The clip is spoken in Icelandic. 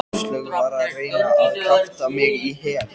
Áslaug var að reyna að kjafta mig í hel.